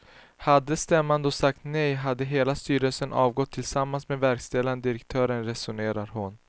Hade stämman då sagt nej hade hela styrelsen avgått tillsammans med verkställande direktören, resonerar hon.